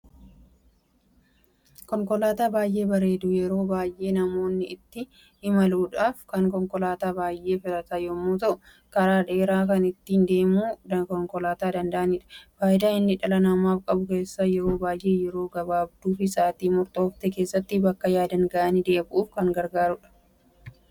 Konkoolaata baay'ee bareedu yeroo baay'ee namoonni itti imaaluudhaf konkoolaata baay'ee filatan yemmu ta'u, karaa dheeraa kan ittin deemu konkoolaata danda'anidha. Faayidaa inni dhala namaaf qabu keessa yeroo baay'ee yeroo gabaabduu fi sa'aatii murtoofte keessatti bakka yaadaniin nama ga'u kan danda'udha.